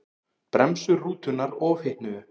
Bremsur rútunnar ofhitnuðu